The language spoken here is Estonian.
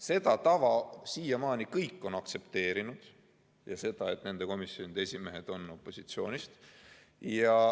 Seda tava on siiamaani kõik aktsepteerinud ja ka seda, et nende komisjonide esimehed on opositsioonist.